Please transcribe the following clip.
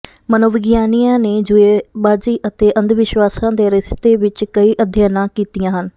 ਮਨੋਵਿਗਿਆਨੀਆਂ ਨੇ ਜੂਏਬਾਜੀ ਅਤੇ ਅੰਧਵਿਸ਼ਵਾਸਾਂ ਦੇ ਰਿਸ਼ਤੇ ਵਿੱਚ ਕਈ ਅਧਿਐਨਾਂ ਕੀਤੀਆਂ ਹਨ